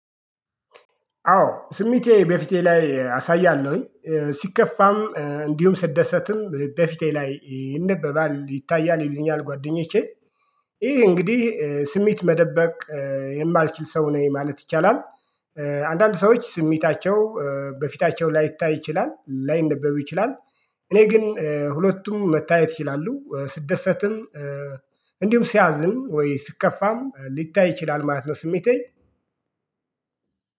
አዎ ስሜቴ በፊቴ ላይ አሳያለሁኝ ሲከፋም እንዲሁም ስትደሰትም በፊቴ ላይ ይነበባል ይታያል ይሉኛል ጓደኞቼ ይሄ እንግዲህ ስሜት መደበቅ የማልችል ሰው ነኝ ማለት ይቻላል። አንዳንድ ሰዎች ስሜታቸው በፊታቸው ላይታይ ይችላል ላይነበብ ይችላል። እኔ ግን ሁለቱም መታየት ይችላሉ ስደሰትም ሲያዝም ወይ ስትከፋም ሊታይ ይችላል ማለት ነው። ስሜቴን